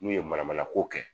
N'u ye manamana ko kɛ